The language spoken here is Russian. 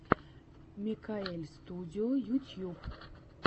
микаэльстудио ютьюб